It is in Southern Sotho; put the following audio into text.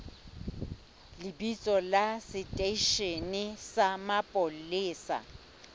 lebitso la seteishene sa mapolesa